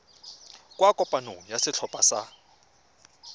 kwa kopanong ya setlhopha sa